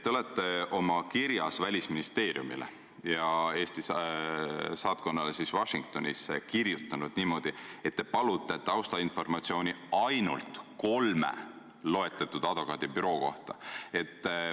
Te olete kirjas, mille saatsite Välisministeeriumile ja Eesti saatkonnale Washingtonis, öelnud niimoodi, et palute taustainformatsiooni ainult kolme loetletud advokaadibüroo kohta.